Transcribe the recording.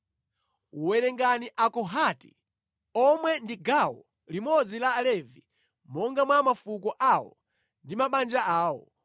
“Werengani Akohati omwe ndi gawo limodzi la Alevi monga mwa mafuko awo ndi mabanja awo.